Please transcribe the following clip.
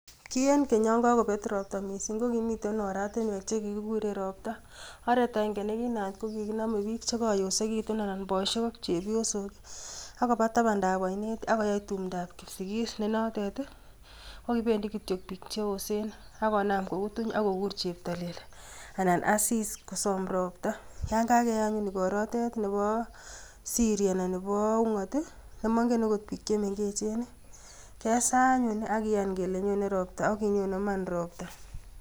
Ki en keny yon kokobet roptaa missing, kokimiten oratinwek chekikuur en roptaa, oret agenge nekinaayat kokikinome bik chekoyosekitun, anan boisiek ak chepyoosok akobo tabandab ainet. Ak koyai tumdoo kipsigis, nenotet kokibendii kityook bik cheyoosen, akonaam kokutuny, ak konaam koguur cheptolel, anan Asis kosom ropta. Yon kakeyaianyun ikorotet neboosiri anan Nebo ung'oot, nemoingen okot bik chemengechen, kesaa anyun ak kiyaan kele nyoone ropta ak kinyoonen Iman ropta.